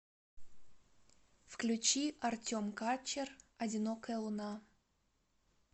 включи артем качер одинокая луна